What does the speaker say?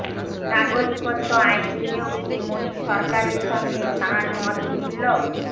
নাগরিকত্ব আইন নিয়েও কি মোদী সরকারের সঙ্গে তাঁর মত মিলল